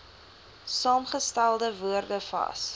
saamgestelde woorde vas